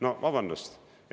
No vabandust!